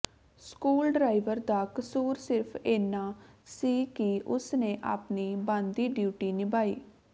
school driver ਦਾ ਕਸੂਰ ਸਿਰਫ ਇੰਨਾ ਸੀ ਕਿ ਉਸ ਨੇ ਆਪਣੀ ਬਣਦੀ ਡਿਊਟੀ ਨਿਭਾਈ